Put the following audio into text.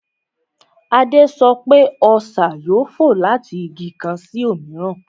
Adé sọ pé, Ọṣà yóò fò láti Igi kan sí òmíràn